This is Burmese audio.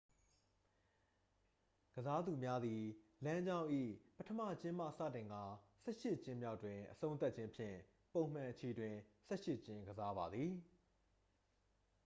ကစားသူများသည် လမ်းကြောင်း၏ပထမကျင်းမှစတင်ကာ ဆယ့်ရှစ်ကျင်းမြောက်တွင် အဆုံးသတ်ခြင်းဖြင့် ပုံမှန်အချီတွင် ဆယ့်ရှစ်ကျင်းကစားပါသည်